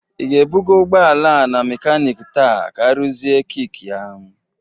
Ị ga-ebụga ụgbọala a na mekanik taa ka arụzie kik ya?